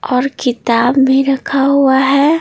और किताब में रखा हुआ है।